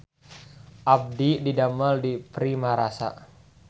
Abdi didamel di Primarasa